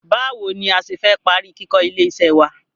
Báwo ni a ṣe fẹ́ parí kíkó ilé iṣẹ́ wá?